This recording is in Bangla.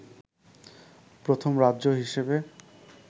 প্রথম রাজ্য হিসেবে